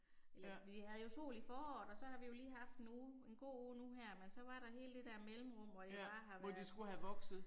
Vi vi havde jo sol i foråret og så har vi jo lige haft en uge en god uge nu her men så var der hele det der mellemrum hvor det bare har været